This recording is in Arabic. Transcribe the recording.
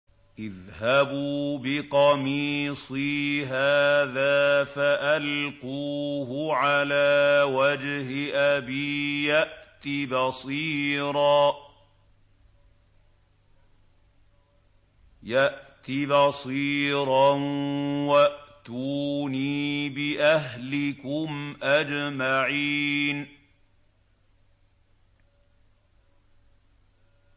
اذْهَبُوا بِقَمِيصِي هَٰذَا فَأَلْقُوهُ عَلَىٰ وَجْهِ أَبِي يَأْتِ بَصِيرًا وَأْتُونِي بِأَهْلِكُمْ أَجْمَعِينَ